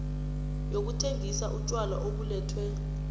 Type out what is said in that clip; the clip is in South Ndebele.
yokuthengisa utjwala obulethwe